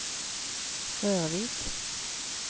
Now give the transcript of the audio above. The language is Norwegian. Rørvik